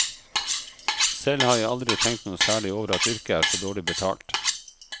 Selv har jeg aldri tenkt noe særlig over at yrket er så dårlig betalt.